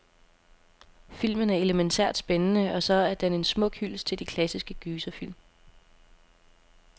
Filmen er elemæntært spændende, og så er den en smuk hyldest til de klassiske gyserfilm.